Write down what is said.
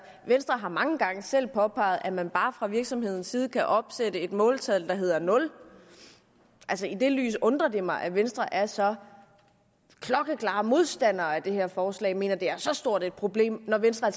venstre har mange gange selv påpeget at man bare fra virksomhedens side kan opsætte et måltal der hedder nul og i det lys undrer det mig at venstre er så klokkeklare modstandere af det her forslag og mener det er så stort et problem når venstre